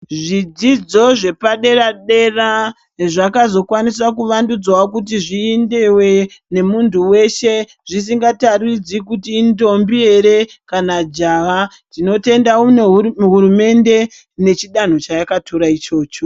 Zvidzidzo zvepadera dera zvakazokwanisa kuvandudza kuti zviendewe nemunhu wese zvisingataridzi kuti indombi here kana jaha tinotenda nehurumende mechidanho chayakatora ichocho.